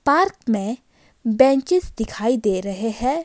Park में benches दिखाई दे रहे हैं।